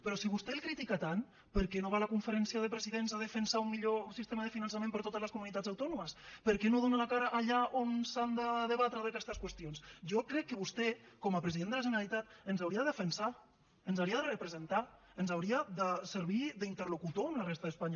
però si vostè el critica tant per què no va a la conferència de presidents a defensar un millor sistema de finançament per a totes les comunitats autònomes per què no dona la cara allà on s’han de debatre aquestes qüestions jo crec que vostè com a president de la generalitat ens hauria de defensar ens hauria de representar ens hauria de servir d’interlocutor amb la resta d’espanya